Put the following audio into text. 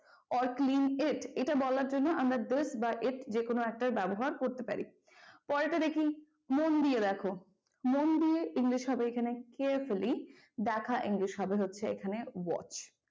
or clean it এটা বলার জন্য আমরা this বা it যেকোনো একটার ব্যবহার করতে পারি। পরেরটা দেখে মন দিয়ে দেখো, মন দিয়ে english হবে এখানে carefully দেখা english হবে হচ্ছে এখানে english